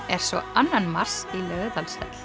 er svo annan mars í Laugardalshöll